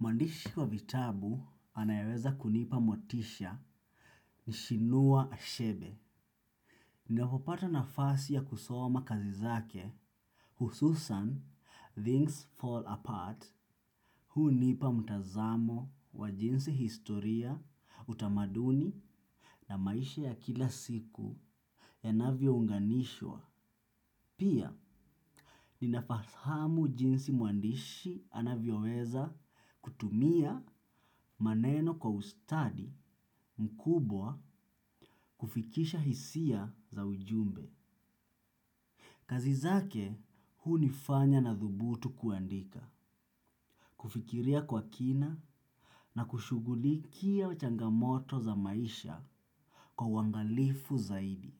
Mwandishi wa vitabu anayeweza kunipa motisha ni Chinua achebe. Ninapopata nafasi ya kusoma kazi zake hususan things fall apart. Hunipa mtazamo wa jinsi historia utamaduni na maisha ya kila siku ya navyounganishwa. Pia, ninafahamu jinsi mwandishi anavyoweza kutumia maneno kwa ustadi mkubwa kufikisha hisia za ujumbe. Kazizake, hunifanya nathubutu kuandika, kufikiria kwa kina na kushughulikia changamoto za maisha kwa uangalifu zaidi.